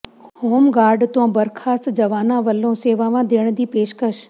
home guard ਤੋਂ ਬਰਖਾਸਤ ਜਵਾਨਾਂ ਵੱਲੋਂ ਸੇਵਾਵਾਂ ਦੇਣ ਦੀ ਪੇਸ਼ਕਸ਼